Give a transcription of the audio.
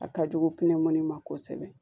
A ka jugu pinɛmɔnin ma kosɛbɛ